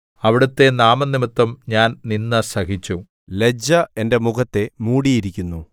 അവിടുത്തെ നാമംനിമിത്തം ഞാൻ നിന്ദ സഹിച്ചു ലജ്ജ എന്റെ മുഖത്തെ മൂടിയിരിക്കുന്നു